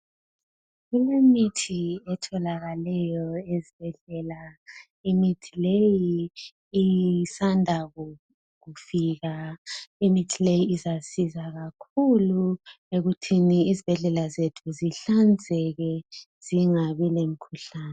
Kulemithi etholakaleyo ezibhedlela imithi leyi isanda kufika, imithi leyi izasiza kakhulu ekuthini izibhedlela zethu zihlanzeke zingabi lemkhuhlani.